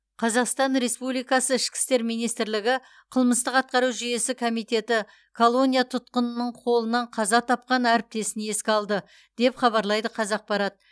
қазақстан республикасы ішкі істер министрлігі қылмыстық атқару жүйесі комитеті колония тұтқынының қолынан қаза тапқан әріптесін еске алды деп хабарлайды қазақпарат